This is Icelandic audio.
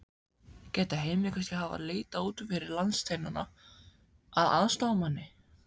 Gæti Heimir kannski hafa leitað út fyrir landsteinana að aðstoðarmanni?